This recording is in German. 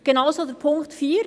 Genauso Punkt 4: